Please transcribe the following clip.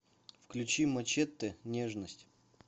включи мачете нежность